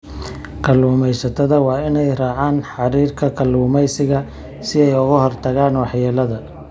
Kalluumeysatada waa inay raacaan xeerarka kalluumeysiga si ay uga hortagaan waxyeellada.